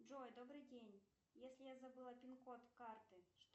джой добрый день если я забыла пин код карты